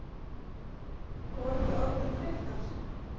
Voru þið orðnar þreyttar?